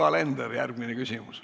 Yoko Alender, järgmine küsimus.